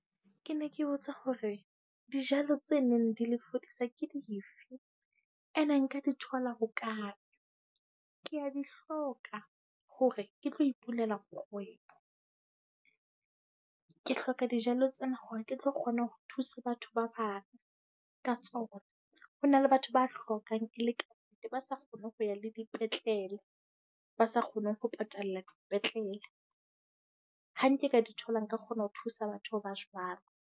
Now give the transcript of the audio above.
Ke ne ke botsa hore dijalo tse neng di le fodisa ke dife? Ene nka di thola ho kae? Ke a di hloka hore ke tlo ipulela kgwebo. Ke hloka dijalo tsena hore ke tlo kgona ho thusa batho ba bang ka tsona. Ho na le batho ba hlokang, e le kannete. Ba sa kgoneng ho ya le dipetlele, ba sa kgoneng ho patala ko dipetlele. Ha nke ka di thola, nka kgona ho thusa batho ba jwalo.